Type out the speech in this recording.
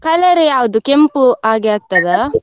Colour ಯಾವ್ದು ಕೆಂಪು ಹಾಗೆ ಆಗ್ತದಾ?